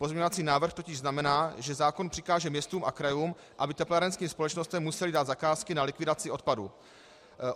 Pozměňovací návrh totiž znamená, že zákon přikáže městům a krajům, aby teplárenským společnostem musely dát zakázky na likvidaci odpadů.